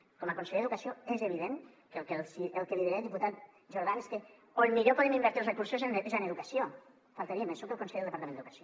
com a conseller d’educació és evident que el que li diré diputat jordan és que on millor podem invertir els recursos és en educació només faltaria soc el conseller del departament d’educació